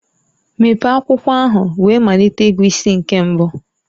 Mepee akwụkwọ ahụ wee malite ịgụ isi nke mbụ.